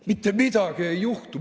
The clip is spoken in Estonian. Mitte midagi ei juhtu.